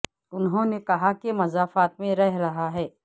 انہوں نے کہا کہ مضافات میں رہ رہا ہے